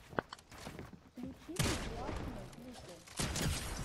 включи мне классные клипы